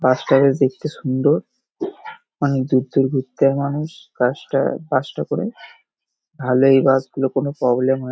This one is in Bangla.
বাস টা বেশ দেখতে সুন্দর অনেক দূর দূর ঘুরতে যায় মানুষ। গাসটা বাসটা করে ভালো এই বাস গুলো কোনো প্রবলেম হয় --